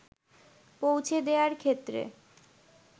পৌঁছে দেয়ার ক্ষেত্রে